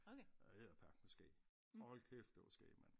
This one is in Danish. Det var edderperkme skæg hold kæft det var skæg man